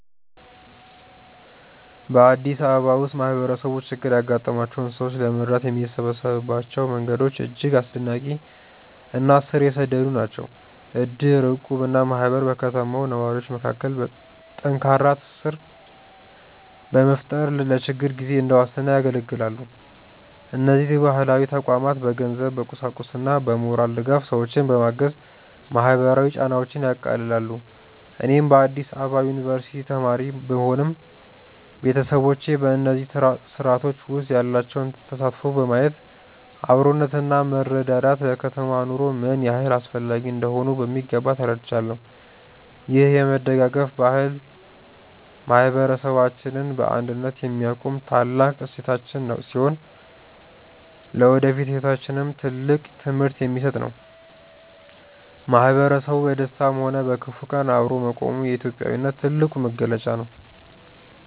በአዲስ አበባ ውስጥ ማህበረሰቡ ችግር ያጋጠማቸውን ሰዎች ለመርዳት የሚሰበሰብባቸው መንገዶች እጅግ አስደናቂ እና ስር የሰደዱ ናቸው። እድር፣ እቁብ እና ማህበር በከተማው ነዋሪዎች መካከል ጠንካራ ትስስር በመፍጠር ለችግር ጊዜ እንደ ዋስትና ያገለግላሉ። እነዚህ ባህላዊ ተቋማት በገንዘብ፣ በቁሳቁስና በሞራል ድጋፍ ሰዎችን በማገዝ ማህበራዊ ጫናዎችን ያቃልላሉ። እኔም በአዲስ አበባ ዩኒቨርሲቲ ተማሪ ብሆንም፣ ቤተሰቦቼ በእነዚህ ስርአቶች ውስጥ ያላቸውን ተሳትፎ በማየት አብሮነትና መረዳዳት ለከተማ ኑሮ ምን ያህል አስፈላጊ እንደሆኑ በሚገባ ተረድቻለሁ። ይህ የመደጋገፍ ባህል ማህበረሰባችንን በአንድነት የሚያቆም ታላቅ እሴታችን ሲሆን፣ ለወደፊት ህይወታችንም ትልቅ ትምህርት የሚሰጥ ነው። ማህበረሰቡ በደስታም ሆነ በክፉ ቀን አብሮ መቆሙ የኢትዮጵያዊነት ትልቁ መገለጫ ነው።